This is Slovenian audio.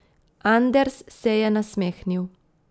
Anders se je nasmehnil.